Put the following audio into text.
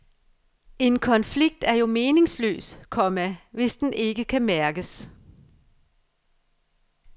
En konflikt er jo meningsløs, komma hvis den ikke kan mærkes